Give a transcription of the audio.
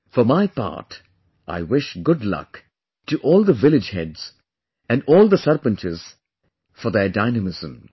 For my part I wish good luck to all the village heads and all the sarpanchs for their dynamism